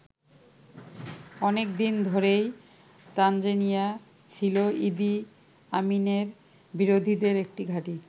অনেক দিন ধরেই তানজানিয়া ছিল ইদি আমিনের বিরোধীদের একটি ঘাঁটি।